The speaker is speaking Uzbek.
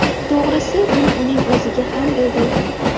To‘g‘risi, buni uning o‘ziga ham bildirdim.